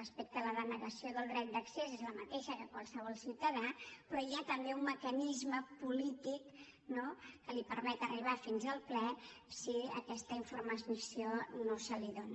respecte a la denegació del dret d’accés és la mateixa que en qualsevol ciutadà però hi ha també un mecanisme polític que li permet arribar fins al ple si aquesta informació no se li dóna